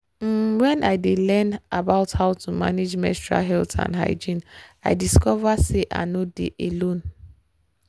um when i dey learn about how to manage menstrual health and hygiene i discover say i nor dey alone.